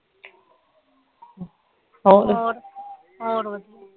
ਹੋਰ ਵਧੀਆ